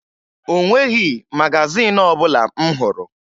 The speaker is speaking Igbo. O nweghi magazin ọbụla m hụrụ